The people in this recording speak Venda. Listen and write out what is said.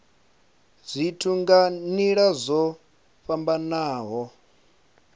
zwithu nga nila dzo fhambanaho